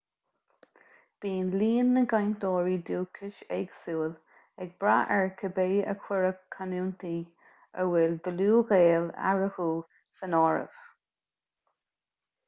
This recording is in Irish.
bíonn líon na gcainteoirí dúchais éagsúil ag brath ar cibé ar cuireadh canúintí a bhfuil dlúthghaol eatarthu san áireamh